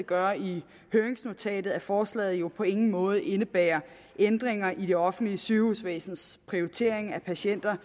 gør i høringsnotatet at forslaget jo på ingen måde indebærer ændringer i det offentlige sygehusvæsens prioritering af patienter